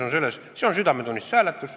See on südametunnistuse hääletus.